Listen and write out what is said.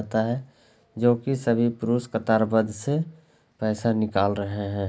जाता है जो की सभी पुरुष कतारबद्ध से पैसा निकाल रहे हैं।